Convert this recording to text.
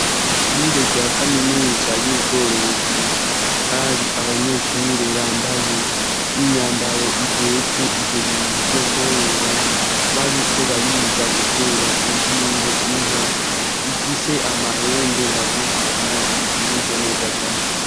Ishure rya kaminuza y'ubworozi, hari abanyeshure bambaye inyambaro ijejwe ivyo bintu vyo kworora, bariko bariga gutera inshinge inka ifise amahembe magufi kandi ivyibushe neza cane.